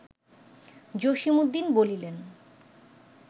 জসীমউদ্দীন বলিলেন